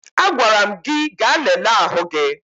Agwara m gị ga lelee ahụ gị!